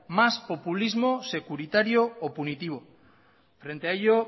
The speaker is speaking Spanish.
más populismo securitario o punitivo frente a ello